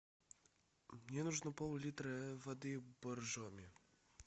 мне нужно пол литра воды боржоми